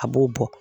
A b'o bɔ